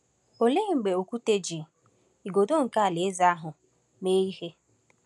Olee mgbe Okwute ji “igodo nke alaeze ahụ” mee ihe?